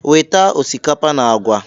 "Weta osikapa na agwa!"